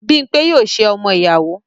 Bímpé yóò ṣe ọmọ-ìyàwó.